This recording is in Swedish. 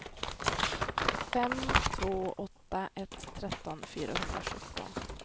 fem två åtta ett tretton fyrahundrasjutton